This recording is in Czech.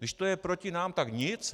Když to je proti nám, tak nic.